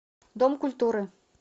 дом культуры